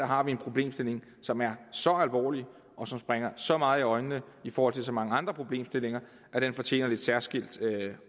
har vi en problemstilling som er så alvorlig og som springer så meget i øjnene i forhold til så mange andre problemstillinger at den fortjener lidt særskilt